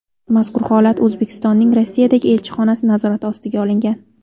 Mazkur holat O‘zbekistonning Rossiyadagi elchixonasi nazorati ostiga olingan.